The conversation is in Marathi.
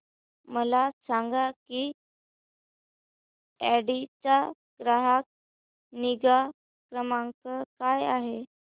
मला सांग की ऑडी चा ग्राहक निगा क्रमांक काय आहे